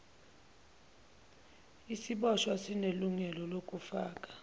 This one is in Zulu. isiboshwa sinelungelo lokufaka